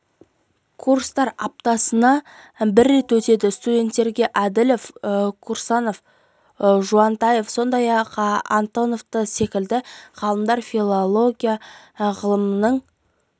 курстар аптасына бір рет өтеді студенттерге әділова тұрсынова жуынтаева сондай-ақ антонова секілді ғалымдар филология ғылымдарының